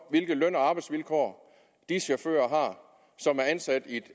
hvilke løn og arbejdsvilkår de chauffører som er ansat i